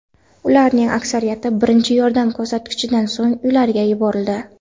Ularning aksariyati birinchi yordam ko‘rsatilganidan so‘ng uylariga yuborildi.